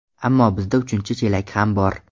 Ammo bizda uchinchi chelak ham bor.